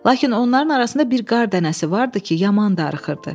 Lakin onların arasında bir qar dənəsi vardı ki, yaman darıxırdı.